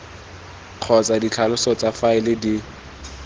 kgotsa ditlhaloso tsa faele di